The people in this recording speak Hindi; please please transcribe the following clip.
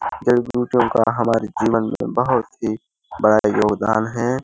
जड़ी बुटयो का हमारे जीवन में बहोत ही बड़ा योगदान है।